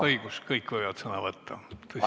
Õigus, kõik võivad sõna võtta!